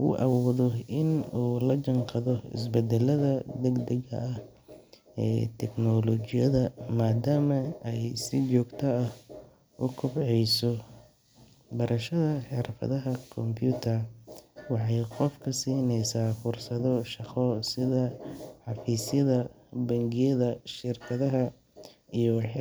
uu awoodo in uu lajanqaado is badalada degdega ah ee teknolojiyada maadama ay si jogta ah u kobceyso, Barashada xirfadaha computer waxay qofka sineysa fursado shaqo sida xafisyada, bengiyada, shirkadaha